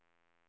L E R U M